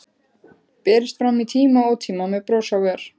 Berist fram í tíma og ótíma, með bros á vör.